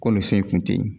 Ko nin so in kun ten yen